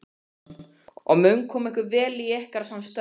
Andri Ólafsson: Og mun koma ykkur vel í ykkar störfum?